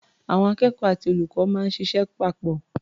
Àwọn akẹ́kọ̀ó àti olùkọ́ máa ń ṣịṣẹ́ papọ̀.